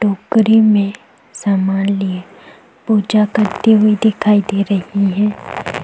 टोकरी में समान लिए पूजा करती हुई दिखाई दे रही है।